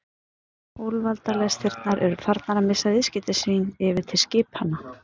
Úlfaldalestirnar eru farnar að missa viðskipti sín yfir til skipanna.